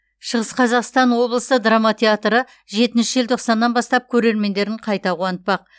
шығыс қазақстан облысы драма театры жетінші желтоқсаннан бастап көрермендерін қайта қуантпақ